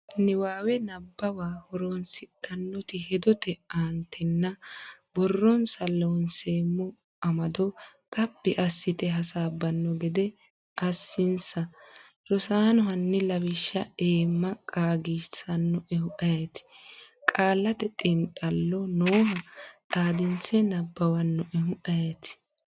Niwaawe Nabbawa horoonsidhinota hedote aantenna borronsa Loonseemmo amado xaphi assite hasaabbanno gede assinsa. Rosaano hanni lawishsha eemma qaagisannoehu ayeeti? Qaallate Xiinxallo nooha xaadinse nabbawannoehu ayeeti?